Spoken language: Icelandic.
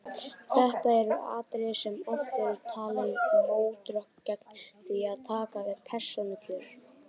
Þetta eru atriði sem oft eru talin mótrök gegn því að taka upp persónukjör.